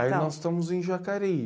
Aí nós estamos em Jacareí.